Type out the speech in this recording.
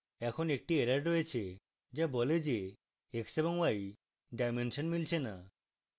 এখন একটি error রয়েছে যা বলে যে x এবং y ডাইমেনশন মিলছে না